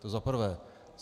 To za prvé.